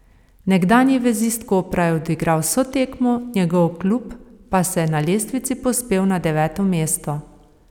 Nekdanji vezist Kopra je odigral vso tekmo, njegov klub pa se je na lestvici povzpel na deveto mesto.